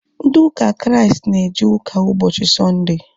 Ndị ụka Kraịst na eje ụka ụbọchị sọnde